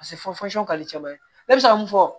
kaliteman ye ne bɛ se ka mun fɔ